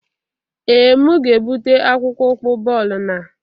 Ee, m ga-ebute akpụkpọ ụkwụ bọọlụ na o